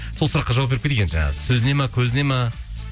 сол сұраққа жауап беріп кетейік енді жаңағы сөзіне ме көзіне ме